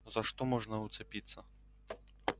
за что можно уцепиться